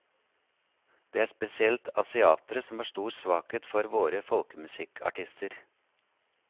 Det er spesielt asiatere som har stor svakhet for våre folkemusikkartister.